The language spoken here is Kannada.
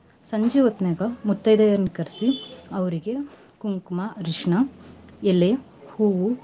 ಸಂಜಿ ಹೊತ್ನ್ಯಾಗ ಮುತೈದೆಯರ್ನ ಕರ್ಸಿ ಅವ್ರಗೆ ಕುಂಕ್ಮಾ, ಅರ್ಶನಾ, ಎಲೆ, ಹೂವು.